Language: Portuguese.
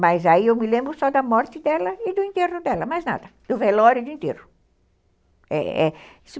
Mas aí eu me lembro só da morte dela e do enterro dela, mais nada, do velório e do enterro.